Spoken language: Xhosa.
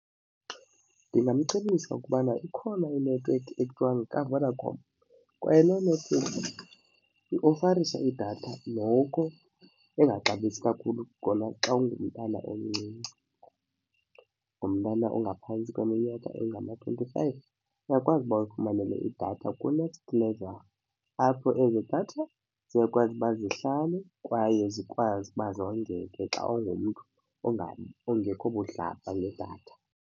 Ndingamcebisa ukubana ikhona inethiwekhi ekuthiwa yekaVodacom kwaye loo nethiwekhi iofarisha idatha noko engaxabisi kakhulu kona xa ungumntana omncinci. Ungumntana ongaphantsi kweminyaka engama-twenty-five, uyakwazi uba uyifumane le idatha kuNXT LVL apho ezo datha ziyakwazi uba zihlale kwaye zikwazi uba zondleke xa ungumntu ongekho budlabha ngedatha.